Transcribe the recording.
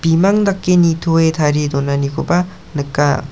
bimang dake nitoe tarie donanikoba nika.